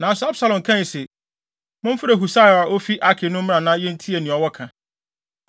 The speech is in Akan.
Nanso Absalom kae se, “Momfrɛ Husai a ofi Arki no mmra na yentie nea ɔwɔ ka.”